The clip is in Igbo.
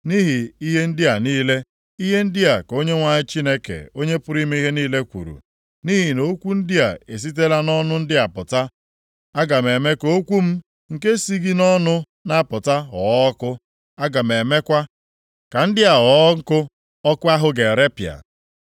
Nʼihi ihe ndị a niile, ihe ndị a ka Onyenwe anyị Chineke Onye pụrụ ime ihe niile kwuru, “Nʼihi na okwu ndị a esitela nʼọnụ ndị a pụta, aga m eme ka okwu m, nke si gị nʼọnụ na-apụta, ghọọ ọkụ. Aga m emekwa ka ndị a ghọọ nkụ ọkụ ahụ ga-erepịa.